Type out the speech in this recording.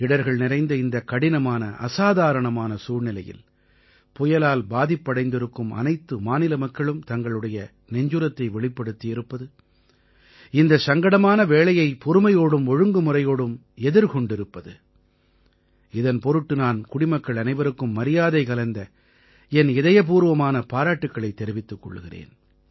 இடர்கள் நிறைந்த இந்தக் கடினமானஅசாதாரணமான சூழ்நிலையில் புயலால் பாதிப்படைந்திருக்கும் அனைத்து மாநில மக்களும் தங்களுடைய நெஞ்சுரத்தை வெளிப்படுத்தி இருப்பது இந்த சங்கடமான வேளையைப் பொறுமையோடும் ஒழுங்குமுறையோடும் எதிர்கொண்டிருப்பதுஇதன் பொருட்டு நான் குடிமக்கள் அனைவருக்கும் மரியாதை கலந்த என் இதயபூர்வமான பாராட்டுக்களைத் தெரிவித்துக் கொள்கிறேன்